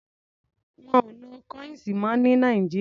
Wọ́n ò lo kọ́íǹsì mọ́ ní Nàìjíríà.